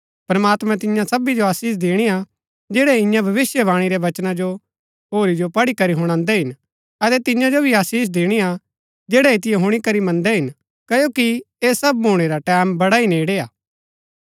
प्रमात्मैं तिन्या सबी जो आशीष दिणी हा जैड़ै इन्या भविष्‍यवाणी रै वचना जो होरी जो पढ़ी करी हुणान्दै हिन अतै तिन्या जो भी आशीष दिणी हा जैड़ै ऐतिओ हुणी करी मन्दै हिन क्ओकि ऐह सब भूणै रा टैमं बड़ा ही नेड़ै हा